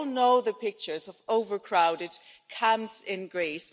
We all know the pictures of overcrowded camps in Greece.